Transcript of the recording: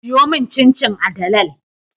Siyomin cin cin a dalal